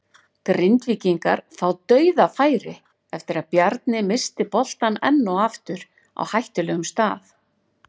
Grindvíkingar fá DAUÐAFÆRI eftir að Bjarni missti boltann enn og aftur á hættulegum stað!